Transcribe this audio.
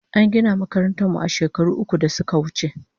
An gina makarantan mu shekaru uku da suka wuche